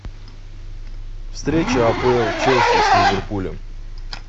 встреча апл челси с ливерпулем